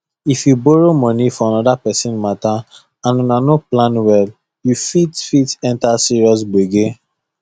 if you borrow money for another person matter and una no plan well you fit fit enter serious gbege